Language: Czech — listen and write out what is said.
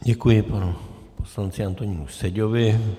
Děkuji, panu poslanci Antonínu Seďovi.